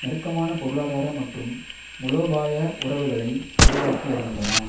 நெருக்கமான பொருளாதார மற்றும் மூலோபாய உறவுகளை உருவாக்கி வருகின்றன